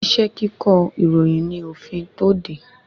Iṣẹ́ kíkọ ìròyìn ní òfin tó de